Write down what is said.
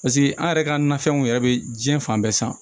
Paseke an yɛrɛ ka nafɛnw yɛrɛ be jiɲɛ fan bɛɛ san